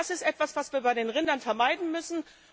Das ist etwas, was wir bei den Rindern vermeiden müssen.